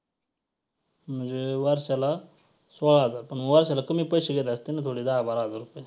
म्हणजे वर्षाला सोळा हजार पण वर्षाला कमी पैसे घेत असतील ना तेवढे दहा बारा हजार रुपये.